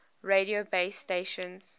radio base stations